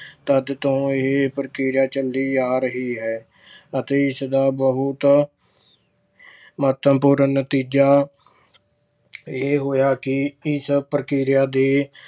ਤਦ ਤੋਂ ਇਹ ਪ੍ਰਕਿਰਿਆ ਚਲੀ ਆ ਰਹੀ ਹੈ ਅਤੇ ਇਸ ਦਾ ਬਹੁਤਾ ਮਹਤਵਪੂਰਨ ਨਤੀਜਾ ਇਹ ਹੋਇਆ ਕਿ ਇਸ ਪ੍ਰਕਿਰਿਆ ਦੇ